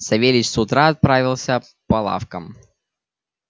савельич с утра отправился по лавкам